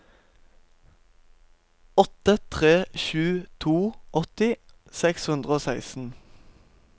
åtte tre sju to åtti seks hundre og seksten